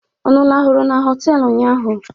Unu lahụrụ na họtelụ ụnyaahụ?